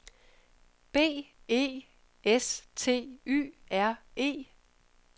B E S T Y R E